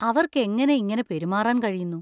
അവർക്കെങ്ങനെ ഇങ്ങനെ പെരുമാറാൻ കഴിയുന്നു?